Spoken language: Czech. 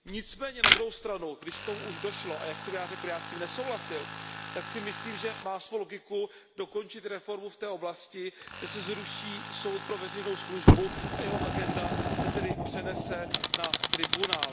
Nicméně, když k tomu už došlo, a jak jsem se již zmínil, já s tím nesouhlasil, tak si myslím, že má svou logiku dokončit reformu v té oblasti, že se zruší Soud pro veřejnou službu a jeho agenda se tedy přenese na Tribunál.